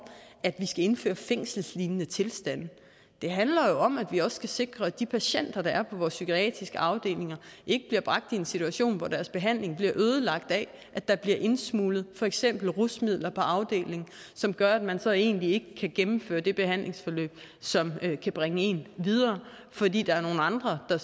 at vi skal indføre fængselslignende tilstande det handler om at vi også skal sikre at de patienter der er på vores psykiatriske afdelinger ikke bliver bragt i en situation hvor deres behandling bliver ødelagt af at der bliver indsmuglet for eksempel rusmidler på afdelingen som gør at man så egentlig ikke kan gennemføre det behandlingsforløb som kan bringe en videre fordi der er nogle andre der